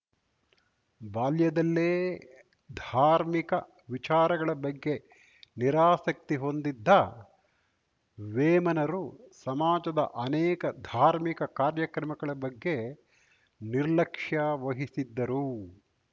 ಬಾಲ್ಯದಲ್ಲೇ ಧಾರ್ಮಿಕ ವಿಚಾರಗಳ ಬಗ್ಗೆ ನಿರಾಸಕ್ತಿ ಹೊಂದಿದ್ದ ವೇಮನರು ಸಮಾಜದ ಅನೇಕ ಧಾರ್ಮಿಕ ಕಾರ್ಯಕ್ರಮಗಳ ಬಗ್ಗೆ ನಿರ್ಲಕ್ಷ್ಯೆ ವಹಿಸಿದ್ದರು